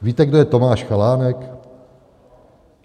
Víte, kdo je Tomáš Chalánek?